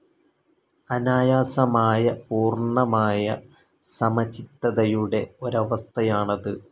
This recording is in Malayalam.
അനായാസമായ, പൂർണ്ണമായ സമചിത്തതയുടെ ഒരവസ്ഥയാണത്.